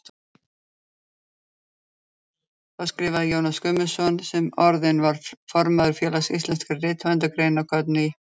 Þá skrifaði Jónas Guðmundsson, sem orðinn var formaður Félags íslenskra rithöfunda, greinarkorn í